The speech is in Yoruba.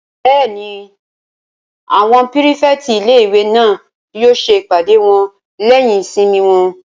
Bẹ́ẹ̀ni, àwọn pírífẹ̀tì ilé-ìwé náà yóò ṣe ìpàdé wọn lẹ́yìn ìsinmi wọn